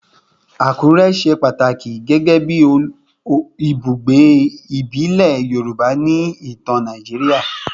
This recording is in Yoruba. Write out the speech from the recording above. Akure ṣe pataki gẹgẹbi ibugbe ibile Yoruba ni itan Naijiria